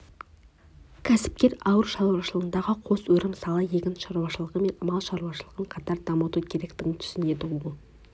кәсіпкер ауыл шаруашылығындағы қос өрім сала егін шаруашылығы мен мал шаруашылығын қатар дамыту керектігін түсінеді ол